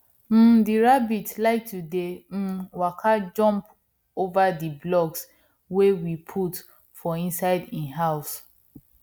um di rabbit like to dey um waka jump over di blocks wey we put for inside hin house